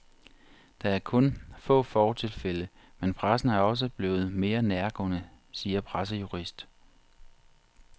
Der er kun få fortilfælde, men pressen er også blevet mere nærgående, siger pressejurist.